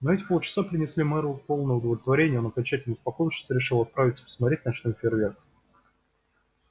но эти полчаса принесли мэру полное удовлетворение и он окончательно успокоившись решил отправиться посмотреть ночной фейерверк